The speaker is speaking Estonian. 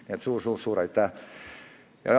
Nii et suur-suur-suur aitäh!